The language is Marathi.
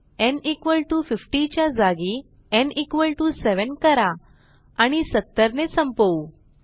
न् 50 च्या जागी न् 7 करा आणि 70 ने संपवू